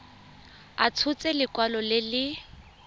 a tshotse lekwalo le le